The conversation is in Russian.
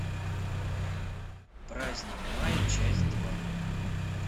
праздник мая часть два